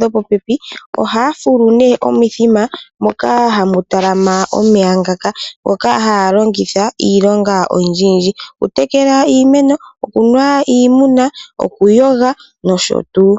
dhopopepi, ohaya fulu omithima moka hamu talama omeya ngaka, ngoka haya longitha iilonga oyindjiyindji okutekela iimeno, okunuwa kiimuna okuyoga noshotuu.